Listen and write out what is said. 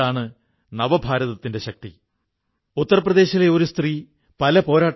ഈയിടെ നമ്മുടെ ഞാണിൻമേൽക്കളിയും പല രാജ്യങ്ങളിലും പ്രചരിക്കുകയാണ്